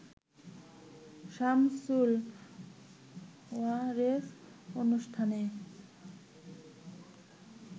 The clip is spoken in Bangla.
সামসুল ওয়ারেস অনুষ্ঠানে